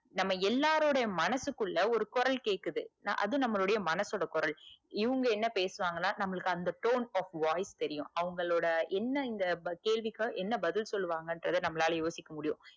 நம்ம எல்லாருடைய மனசுக்குள்ள ஒரு குரல் கேக்குது நா அது நம்மலுடைய மனசோட குரல் இவங்க என்ன பேசுவாங்கன்னா நமக்கு அந்த tone of voice தெரியும். அவங்களோட என்ன இந்த கேள்விக்கு என்ன பதில் சொல்லுவாங்கன்றத நம்மளால யோசிக்க முடியும்.